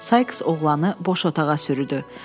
Saiks oğlanı boş otağa sürüdü.